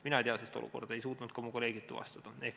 Mina ei tea sellist olukorda, ei suutnud seda ka minu kolleegid tuvastada.